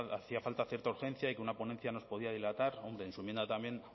hacía falta cierta urgencia y que una ponencia nos podía dilatar hombre en su enmienda también